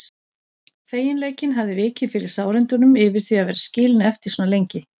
Feginleikinn hafði vikið fyrir sárindunum yfir því að vera skilin eftir svona lengi.